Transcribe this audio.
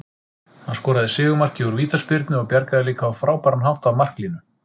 Hann skoraði sigurmarkið úr vítaspyrnu og bjargaði líka á frábæran hátt af marklínu.